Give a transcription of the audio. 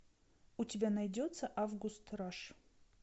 у тебя найдется август раш